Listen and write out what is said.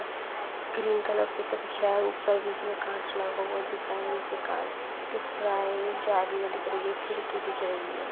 Green colour दिख रहा है उपर बीच में काँच लगा हुआ दिख रहा है नीचे काँच दिख रहा है जालिया दिख रही है खिड़की दिख रही है।